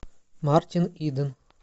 мартин иден